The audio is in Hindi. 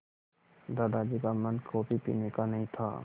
दादाजी का मन कॉफ़ी पीने का नहीं था